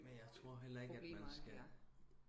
men jeg tror heller ikke at man skal